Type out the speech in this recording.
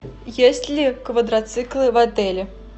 есть ли квадроциклы в отеле